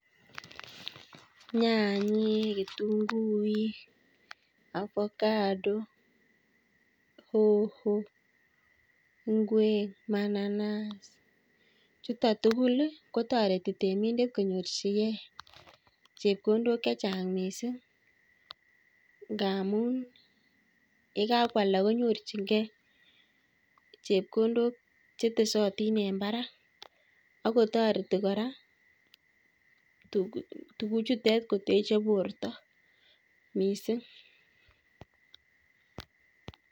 Nyanyek, kitunguik, avocado, hoho, ngwek, mananasi, chuutok tugul, kotoreti temindet konyorchigei chepkondok chechang' miising' ngaamun yekakwalda konyorchingei chepkondok chetesatin en barak, akotoreti kora tuguchuutok koteche borto miising'